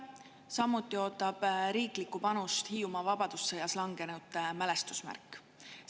Samuti ootab Hiiumaal riiklikku panust vabadussõjas langenute mälestusmärk.